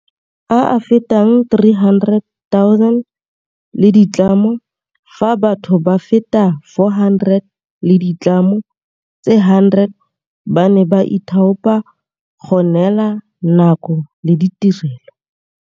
A a fetang 300 000 le ditlamo, fa batho ba feta 400 le ditlamo tse 100 ba ne ba ithaopa go neela nako le ditirelo.